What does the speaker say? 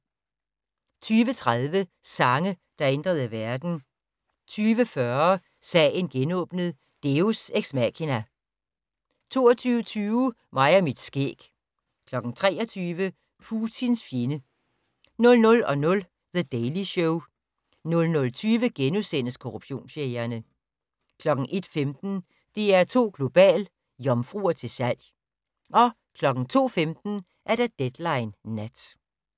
20:30: Sange, der ændrede verden 20:40: Sagen genåbnet: Deus ex machina 22:20: Mig og mit skæg 23:00: Putins fjende 00:00: The Daily Show 00:20: Korruptionsjægerne * 01:15: DR2 Global: Jomfruer til salg 02:15: Deadline Nat